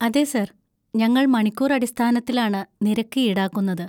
അതെ സർ, ഞങ്ങൾ മണിക്കൂർ അടിസ്ഥാനത്തിലാണ് നിരക്ക് ഈടാക്കുന്നത്.